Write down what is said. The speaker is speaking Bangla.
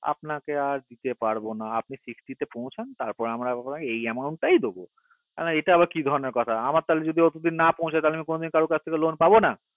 আপনাকে আর দিতে পারবো না আপনি sixty তে পৌঁছান তার পর আমরা amaunt টা দেব আমি বললাম এটা এবার কি ধরণের কথা আমরা যদি অতদূর না পৌঁছায় কারো কাজ থেকে কোনোদিনই loan পাবো না